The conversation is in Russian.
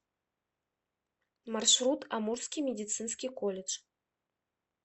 маршрут амурский медицинский колледж